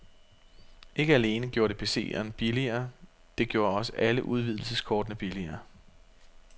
Ikke alene gorde det PCen billigere, men det gjorde også alle udvidelseskortene billigere.